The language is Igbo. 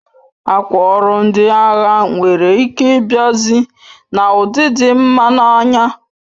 Akwa ọrụ ndị agha nwere ike ịbiazi na ụdị dị mma n'anya